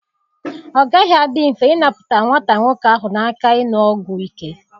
Ọ gaghị adị mfe ịnapụta nwata nwoke ahụ na aka ịṅụ ọgwụ ike.